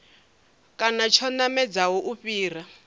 kana tsho namedzaho u fhira